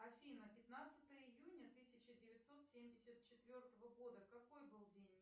афина пятнадцатое июня тысяча девятьсот семьдесят четвертого года какой был день